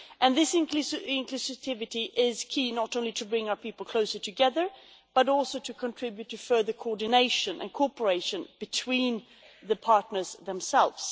This inclusivity is key, not only to bringing our people closer together, but also to contributing to further coordination and cooperation between the partners themselves.